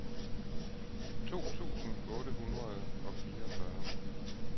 to tusind otte hundrede og fireogfyrre